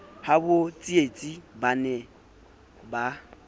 habo tsietsi ba ne ba